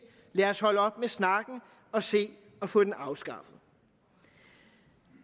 lad os holde op med snakken og se at få den afskaffet